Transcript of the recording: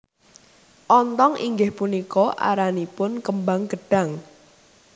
Ontong inggih punika aranipun kembang gedhang